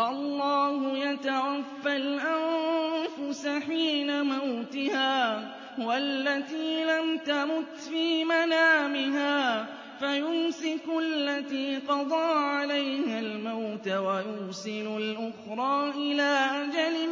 اللَّهُ يَتَوَفَّى الْأَنفُسَ حِينَ مَوْتِهَا وَالَّتِي لَمْ تَمُتْ فِي مَنَامِهَا ۖ فَيُمْسِكُ الَّتِي قَضَىٰ عَلَيْهَا الْمَوْتَ وَيُرْسِلُ الْأُخْرَىٰ إِلَىٰ أَجَلٍ